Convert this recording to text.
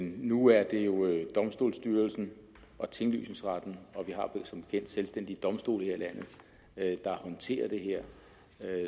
nu er det jo domstolsstyrelsen og tinglysningsretten og vi har som bekendt selvstændige domstole her i landet der håndterer det her